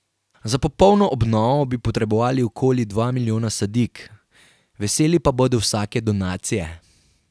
Za popolno obnovo bi potrebovali okoli dva milijona sadik, veseli pa bodo vsake donacije.